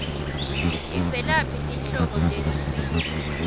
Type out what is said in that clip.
tivelaphi tinhlobo tetilwimi